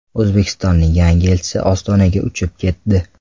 O‘zbekistonning yangi elchisi Ostonaga uchib ketdi.